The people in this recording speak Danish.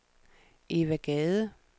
Eva Gade